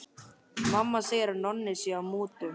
Mamma segir að Nonni sé í mútum.